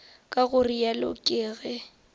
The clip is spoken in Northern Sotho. ka go realo ke ge